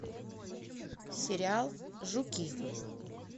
сериал жуки